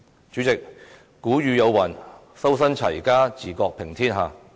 主席，古語有云：修身、齊家、治國、平天下。